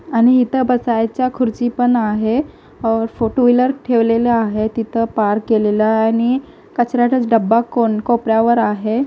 आणि हिथं बसायच्या खुर्ची पण आहे टू-व्हीलर ठेवलेले आहे तिथ पार्क केलेल आहे आणि कचऱ्याचा डब्बा कोपऱ्यावर आहे.